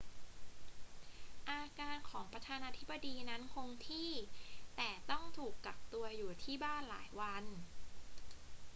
อาการของประธานาธิบดีนั้นคงที่ แต่ต้องถูกกักตัวอยู่ที่บ้านหลายวัน